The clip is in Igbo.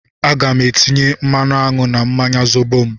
Aga m etinye mmanụ aṅụ na mmanya Zobo m